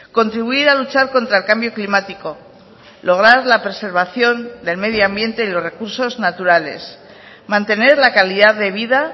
contribuir a luchar contra el cambio climático lograr la preservación del medio ambiente y los recursos naturales mantener la calidad de vida